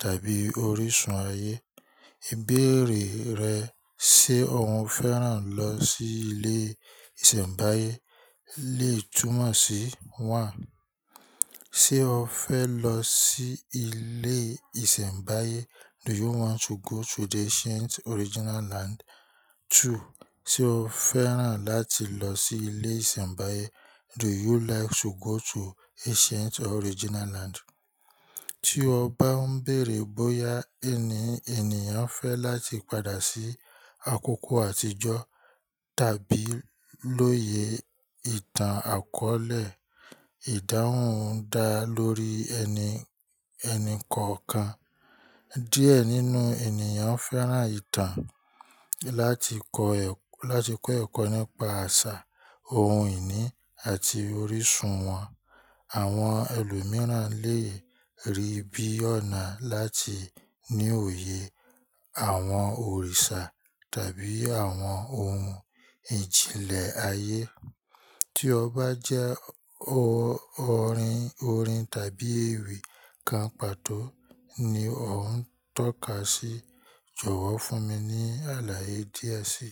tàbí orísun ayé. Ibẹ̀rẹ̀ rẹ ṣe o fẹ́ràn lọ sí ilé ìsẹ̀mbáyé lè túmọ̀ sí, one ṣe o fẹ lọ sí ilé ìsẹ̀mbáyé? Do you want to go to the ancient original land? 2 ṣe o fẹ́ràn láti lọ sí ilé ìsẹ̀mbáyé? Do you like to go to ancient original land? Tí o bá ń bèèrè bóyá ẹni ènìyàn fẹ́ láti padà sí àkókò àtijọ́ tàbí lóye ìtàn akọ̀ọ̀lẹ, ìdáhùn ń da lórí ẹni ẹni kọ̀ọ̀kan. Díẹ̀ nínú ènìyàn fẹ́ràn ìtàn láti kọ́ ẹkọ́ nípa àṣà, ohun ìní àti orísun wọn. Àwọn ẹlòmíràn lè rí bí ọ̀nà láti ní òye àwọn òrìṣà tàbí àwọn ohun ìjìnlẹ̀ ayé. Tí o bá jẹ́ orin tàbí ewì kan pàtó ni ọ ń tọ́ka sí "jọ̀wọ́ fún mi ní àlàyé díẹ̀ síi."